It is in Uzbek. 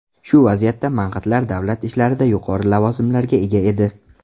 Shu vaziyatda mang‘itlar davlat ishlarida yuqori lavozimlarga ega edi.